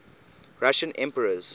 russian emperors